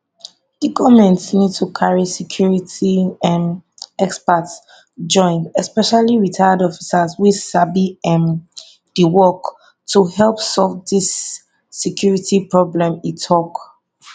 di goment need to carry security um experts join especially retired officers wey sabi um di work to help solve di security problem e tok